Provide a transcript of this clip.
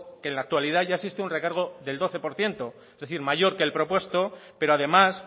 que en la actualidad ya existe un recargo del doce por ciento es decir mayor que el propuesto pero además